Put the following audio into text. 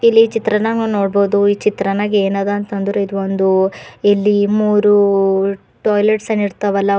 ಇಲ್ಲಿ ಚಿತ್ರನಾಗ ನೋಡಬಹುದು ಚಿತ್ರನಗ ಏನದ ಅಂತಂದ್ರ ಇದು ಒಂದು ಇಲ್ಲಿ ಮೂರು ಟಾಯ್ಲೆಟ್ಸ್ ಅನ್ನ ಇಡ್ತವಲ್ಲ ಅವು--